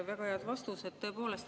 Väga head vastused tõepoolest.